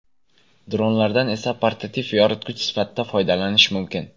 Dronlardan esa portativ yoritgich sifatida foydalanish mumkin.